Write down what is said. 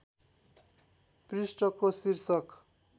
पृष्ठको शीर्षक